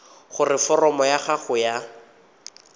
gore foromo ya gago ya